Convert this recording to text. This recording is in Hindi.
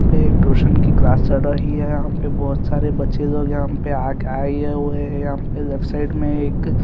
यहाँ पे एक टूशन की क्लास चल रही है यहाँ पे बच्चे जो यहाँ पे आ आये हुए है यहाँ पे लेफ्ट साइड में एक--